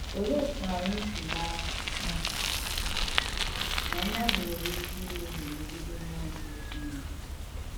Olèé òtù ànyị̣ sì màrà nà mmadù nwèrè ìkè ìmèhiè mègidè m̀múọ̀ ǹsọ̀ Chìnèkè?